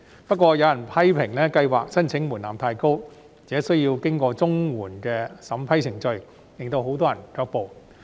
不過，有人批評特別計劃的申請門檻太高，而且需要經過綜援的審批程序，令很多人卻步。